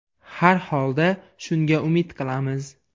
Har holda, shunga umid qilamiz.